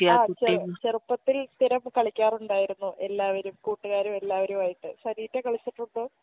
ആ ചെറു ചെറുപ്പത്തിൽ സ്ഥിരം കളിക്കാറുണ്ടായിരുന്നു എല്ലാവരും കൂട്ടുകാരും എല്ലാവരുമായിട്ട് സനീറ്റ കളിച്ചിട്ടുണ്ടോ